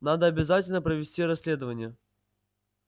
надо обязательно провести расследование